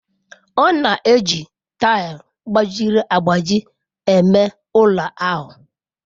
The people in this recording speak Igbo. Ọ na-eji tile gbajiri agbaji eme ụlọ ahụ.